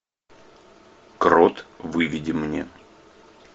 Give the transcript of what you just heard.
крот выведи мне